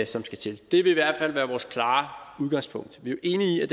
som skal til det vil i hvert fald være vores klare udgangspunkt vi er enige